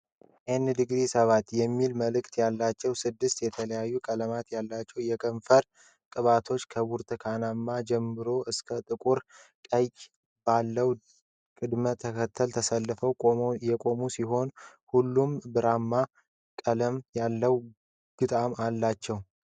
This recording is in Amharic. ን°7 የሚል ምልክት ያላቸው ስድስት የተለያዩ ቀለማት ያሏቸው የከንፈር ቅባቶች ከብርቱካናማ ጀምሮ እስከ ጥቁር ቀይ ባለው ቅደም ተከተል ተሰልፈው የቆሙ ሲሆን፤ ሁሉም ብራማ ቀልም ያለው ግጣም አላችው።